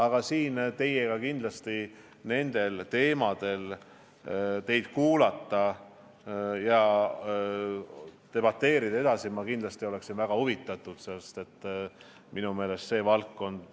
Aga ma olen väga huvitatud teiega nendel teemadel debateerimisest ja soovin teie arvamust kuulata.